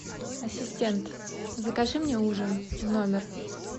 ассистент закажи мне ужин в номер